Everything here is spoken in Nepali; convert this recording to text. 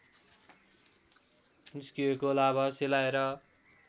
निस्किएको लाभा सेलाएर